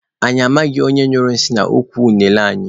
Anyị amaghị onye nyụrụ nsị n'ukwu unene anyị.